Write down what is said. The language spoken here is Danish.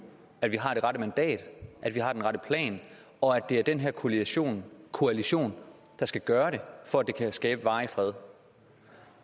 at vi har det rette mandat at vi har den rette plan og at det er den her koalition koalition der skal gøre det for at det kan skabe varig fred